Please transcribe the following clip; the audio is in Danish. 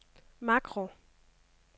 makro